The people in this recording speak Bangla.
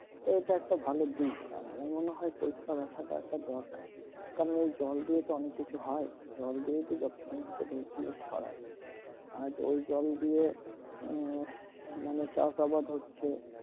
তো এইটা একটা ভালো দিক আর আমার মনে হয় পরিষ্কার রাখাটা দরকার কারণ এই জল দিয়ে অনেক কিছু তো হয় জল দিয়েতো যত সমস্ত রোগগুলো ছড়াই আজ ওই জল দিয়ে উম মানে চাষ আবাদ হচ্ছে